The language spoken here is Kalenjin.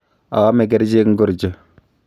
Aame kercheek ngorcho?